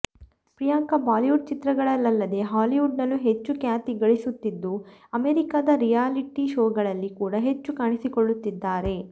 ಪ್ರಿಯಾಂಕಾ ಬಾಲಿವುಡ್ ಚಿತ್ರಗಳಲ್ಲದೆ ಹಾಲಿವುಡ್ ನಲ್ಲೂ ಹೆಚ್ಚು ಖ್ಯಾತಿ ಗಳಿಸುತ್ತಿದ್ದು ಅಮೆರಿಕಾದ ರಿಯಾಲಿಟಿ ಶೋಗಳಲ್ಲಿ ಕೂಡ ಹೆಚ್ಚು ಕಾಣಿಸಿಕೊಳ್ಳುತ್ತಿದ್ದಾರೆ